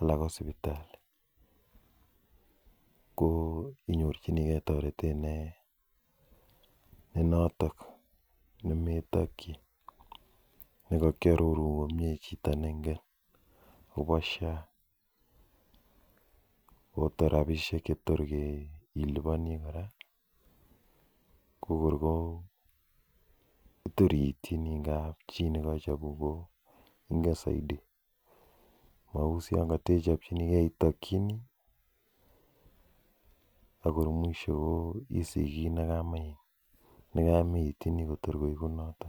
ala ko sipitali ko inyorchinigei toretet ne notok nemetokchi nekakiarorun komie chito nengen akopo sha ko tor robishek chetor ke iliponi korako kor kor ko terchini kap chii nikachopun inget zaidi mau ichopchinige itokchini akor mwisho iyay kiit nekamaitinyei atkor koet